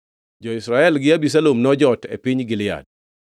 Jo-Israel gi Abisalom nojot e piny Gilead.